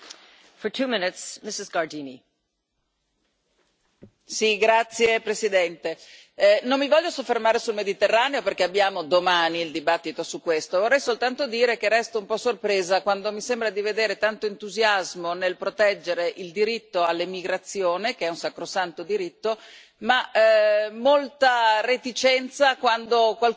Signora Presidente, onorevoli colleghi, non mi voglio soffermare sul Mediterraneo perché abbiamo domani il dibattito su questo, ma vorrei soltanto dire che resto un po' sorpresa quando mi sembra di vedere tanto entusiasmo nel proteggere il diritto all'immigrazione, che è un sacrosanto diritto, ma molta reticenza quando qualcuno invece vorrebbe proteggere